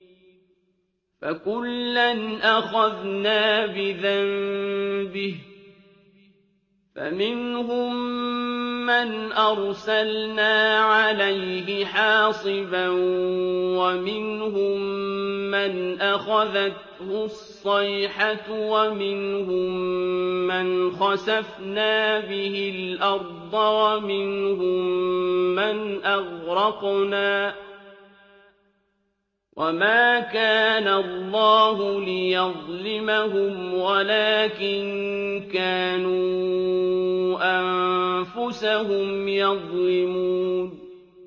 فَكُلًّا أَخَذْنَا بِذَنبِهِ ۖ فَمِنْهُم مَّنْ أَرْسَلْنَا عَلَيْهِ حَاصِبًا وَمِنْهُم مَّنْ أَخَذَتْهُ الصَّيْحَةُ وَمِنْهُم مَّنْ خَسَفْنَا بِهِ الْأَرْضَ وَمِنْهُم مَّنْ أَغْرَقْنَا ۚ وَمَا كَانَ اللَّهُ لِيَظْلِمَهُمْ وَلَٰكِن كَانُوا أَنفُسَهُمْ يَظْلِمُونَ